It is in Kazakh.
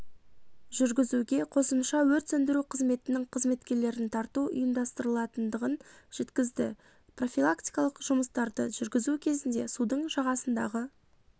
жүргізуге қосымша өрт сөндіру қызметінің қызметкерлерін тарту ұйымдастырылатындығын жеткізді профилактикалық жұмыстарды жүргізу кезінде судың жағасындағы